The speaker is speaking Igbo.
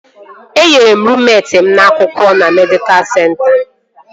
Enyere ruummet m akwa na medịkal senta